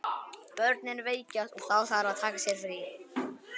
Börnin veikjast og þá þarf að taka sér frí.